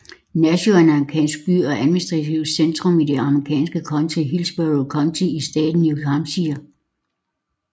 Nashua er en amerikansk by og administrativt centrum i det amerikanske county Hillsborough County i staten New Hampshire